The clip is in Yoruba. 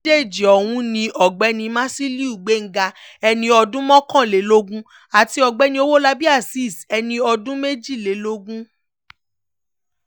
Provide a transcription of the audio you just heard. àwọn méjèèjì ọ̀hún ni ọ̀gbẹ́ni musiliu gbéńgá ẹni ọdún mọ́kànlélógún àti ọ̀gbẹ́ni owólabí azeez ẹni ọdún méjìlélógún